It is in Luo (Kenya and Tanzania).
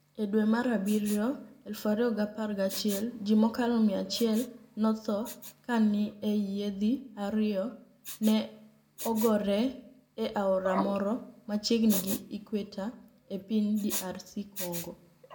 E dwe mar abiryo 2011, ji mokalo 100 notho kani e yiedhi ariyo ni e ogore e aora moro machiegnii gi Equateur e piniy DR Conigo.